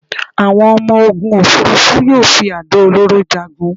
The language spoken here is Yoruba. Àwọn ọmọ-ogun òfúrufú yóò fi àdó olóró jagun